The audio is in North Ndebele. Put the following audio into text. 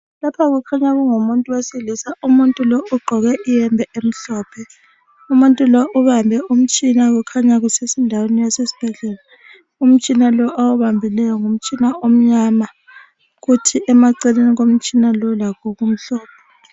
Lapha kukhanya kungumuntu wesilisa umuntu lo ugqoke iyembe emhlophe umuntu lo ubambe umtshina okukhanya kusendaweni yase sibhedlela umtshina lo awubambileyo ngumtshina omnyama kuthi emaceleni komtshina lo lakho kumhlophe.